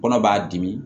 Kɔnɔ b'a dimi